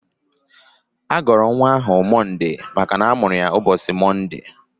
A gọrọ nwa ahụ Mọnde maka na a mụrụ ya n'ụbọchị Mọnde.